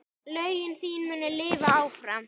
Lögin þín munu lifa áfram.